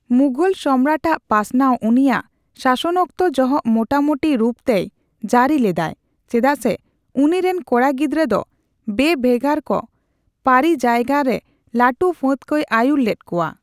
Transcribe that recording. ᱢᱩᱜᱚᱞ ᱥᱚᱢᱨᱟᱡᱽ ᱟᱜ ᱯᱟᱥᱱᱟᱣ ᱩᱱᱤᱭᱟᱜ ᱥᱟᱥᱚᱱᱚᱠᱛᱚ ᱡᱚᱦᱚᱜ ᱢᱚᱴᱟᱢᱩᱴᱤ ᱨᱩᱯ ᱛᱮᱭ ᱡᱟᱹᱨᱤ ᱞᱮᱫᱟᱭ ᱪᱮᱫᱟᱜ ᱥᱮ ᱩᱱᱤ ᱨᱤᱱ ᱠᱚᱲᱟ ᱜᱤᱫᱽᱨᱟᱹ ᱫᱚ ᱵᱮᱼᱵᱷᱮᱜᱟᱨ ᱠᱟ, ᱯᱟᱹᱨᱤᱡᱟᱭᱜᱟ ᱨᱮ ᱞᱟᱹᱴᱩ ᱯᱷᱟᱹᱫᱽ ᱠᱚᱭ ᱟᱹᱭᱩᱨ ᱞᱮᱫ ᱠᱚᱣᱟ᱾